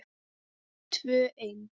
Tvö ein.